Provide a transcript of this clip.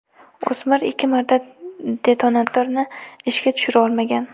O‘smir ikki marta detonatorni ishga tushira olmagan.